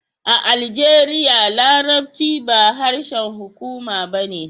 A Aljeriya, Larabci ba harshen hukuma ba ne